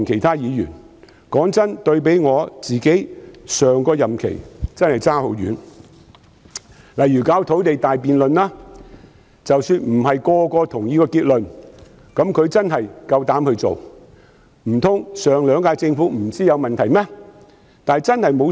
坦白說，對比我上個任期真的相差很遠，例如土地大辯論，即使不是每個人都認同結論，但她至少敢於處理，難道上兩屆政府不知道問題所在嗎？